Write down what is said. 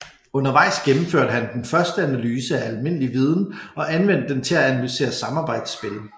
Undervejs gennemførte han den første analyse af almindelig viden og anvendte den til at analysere samarbejdsspil